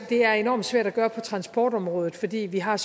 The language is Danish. det er enormt svært at gøre det på transportområdet fordi vi har